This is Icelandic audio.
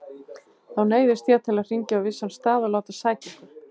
Þá neyðist ég til að hringja á vissan stað og láta sækja ykkur.